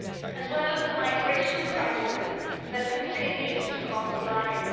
as well the migration crisis that continues to cost lives.